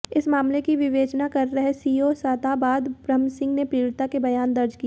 इस मामले की विवेचना कर रहे सीओ सादाबाद ब्रह्मसिंह ने पीडि़ता के बयान दर्ज किए